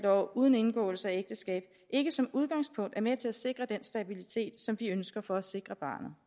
år uden indgåelse af ægteskab ikke som udgangspunkt er med til at sikre den stabilitet som vi ønsker for at sikre barnet